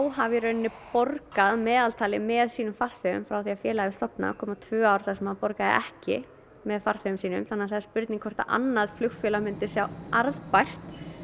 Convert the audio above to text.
hafi í rauninni borgað að meðaltali með sínum farþegum frá því að félagið var stofnað það komu tvö ár þar sem það borgaði ekki með farþegum sínum það er spurning hvort annað flugfélag myndi sjá arðbært